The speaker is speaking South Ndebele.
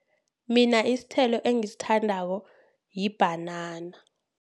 Mina isithelo engisithandako libhanana.